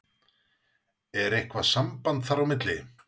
Er eitthvað samband þar á milli?